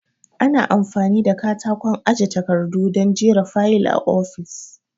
Ana amfani da katakon aje takardu don jera fayil a ofis